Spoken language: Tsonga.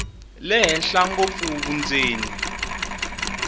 le henhla ngopfu vundzeni